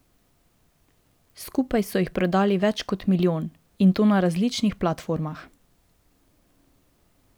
Skupaj so jih prodali več kot milijon, in to na različnih platformah.